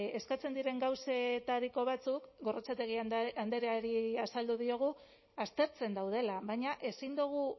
eskatzen diren gauzetariko batzuk gorrotxategi andreari azaldu diogu aztertzen daudela baina ezin dugu